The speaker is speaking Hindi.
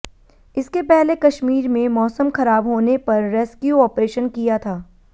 इसके पहले कश्मीर में मौसम खराब होने पर रेस्क्यू ऑपरेशन किया था